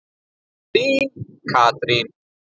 Þín, Katrín.